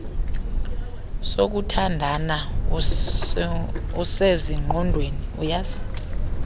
sokuthandana usezingqondweni uyazi